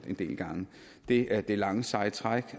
en del gange det er det lange seje træk